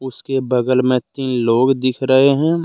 उसके बगल में तीन लोग दिख रहे हैं।